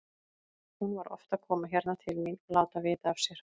Hún var oft að koma hérna til mín og láta vita af sér.